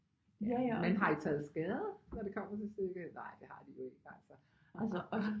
Men har I taget skade når det kommer til stykket nej det har de jo ikke altså altså